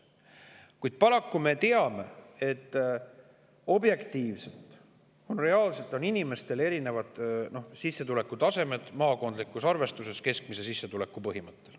Kuid paraku me teame, et objektiivselt, reaalselt on maakondlikus arvestuses inimeste keskmine sissetulek erineval tasemel.